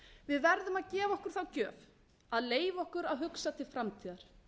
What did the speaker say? við verðum að gefa okkur þá gjöf að leyfa okkur að hugsa til framtíðar